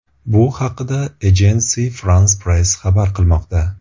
Bu haqida Agence France-Presse xabar qilmoqda .